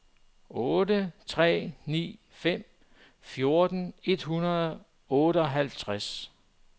otte tre ni fem fjorten et hundrede og otteoghalvtreds